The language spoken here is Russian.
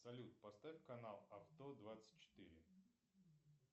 салют поставь канал авто двадцать четыре